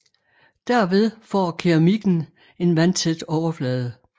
Derved får keramikken en vandtæt overflade